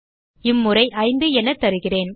இம்முறை 5 என தருகிறேன்